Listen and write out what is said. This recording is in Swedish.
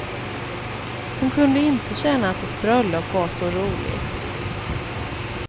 Hon kunde inte känna att ett bröllop var så roligt.